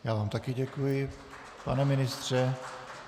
Já vám také děkuji, pane ministře.